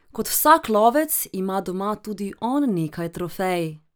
Kot vsak lovec ima doma tudi on nekaj trofej.